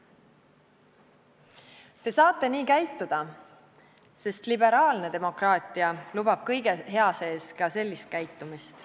Te saate nii käituda, sest liberaalne demokraatia lubab kõige hea sees ka sellist käitumist.